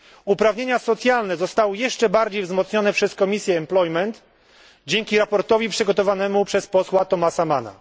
Uprawnienia socjalne zostały jeszcze bardziej wzmocnione przez komisję zatrudnienia dzięki sprawozdaniu przygotowanemu przez posła Thomasa Manna.